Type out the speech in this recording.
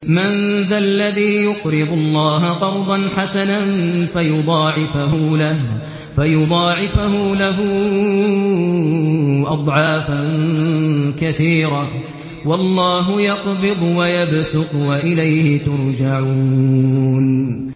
مَّن ذَا الَّذِي يُقْرِضُ اللَّهَ قَرْضًا حَسَنًا فَيُضَاعِفَهُ لَهُ أَضْعَافًا كَثِيرَةً ۚ وَاللَّهُ يَقْبِضُ وَيَبْسُطُ وَإِلَيْهِ تُرْجَعُونَ